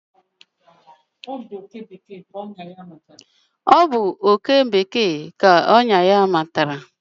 Ọ bụ oké bekee ka ọnyà ya matara.